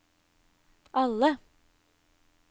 alle